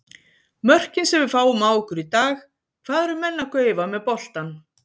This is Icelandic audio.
Mörkin sem við fáum á okkur í dag, hvað eru menn að gaufa með boltann?